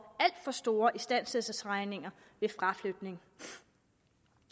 store istandsættelsesregninger ved fraflytning